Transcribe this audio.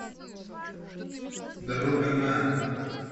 дорога на